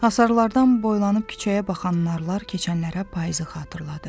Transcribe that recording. Hasarlardan boylanıb küçəyə baxan narlar keçənlərə payızı xatırladır.